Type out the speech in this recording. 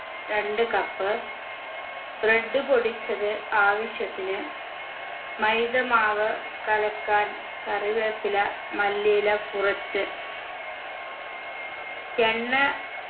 രണ്ട് cup bread പൊടിച്ചത് ആവാശ്യത്തിന് മൈദാ മാവ് കലക്കാൻ കറിവേപ്പില മല്ലിയില കുറച്ച് എണ്ണ